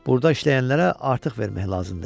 Burda işləyənlərə artıq vermək lazımdır.